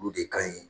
Olu de ka ɲi